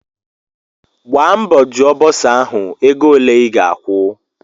Gbaa mbọ jụọ bọsa ahụ wee ego ole I ga-akwu!